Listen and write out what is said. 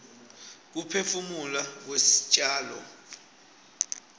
kuphefumula kwestjalo